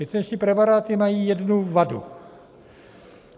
Licenční preparáty mají jednu vadu.